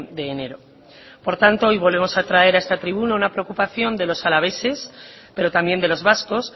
de enero por tanto hoy volvemos a traer a esta tribuna una preocupación de los alaveses pero también de los vascos